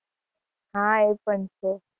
હા એ પણ છે